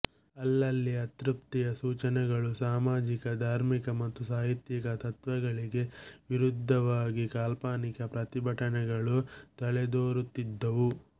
ಅಲ್ಲಲ್ಲಿ ಅತೃಪ್ತಿಯ ಸೂಚನೆಗಳೂ ಸಾಮಾಜಿಕ ಧಾರ್ಮಿಕ ಮತ್ತು ಸಾಹಿತ್ಯಿಕ ತತ್ತ್ವಗಳಿಗೆ ವಿರುದ್ಧವಾಗಿ ಕಾಲ್ಪನಿಕ ಪ್ರತಿಭಟನೆಗಳೂ ತಲೆದೋರುತ್ತಿದ್ದುವು